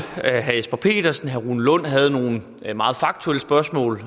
herre jesper petersen herre rune lund havde nogle meget faktuelle spørgsmål